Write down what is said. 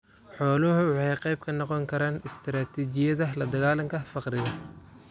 Xooluhu waxay qayb ka noqon karaan istiraatijiyada ladagaalanka faqriga.